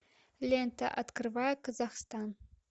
лента открывая казахстан